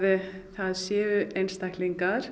það séu einstaklingar